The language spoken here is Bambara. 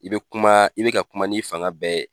I be kuma, i be ka kuma n'i fanga bɛɛ ye.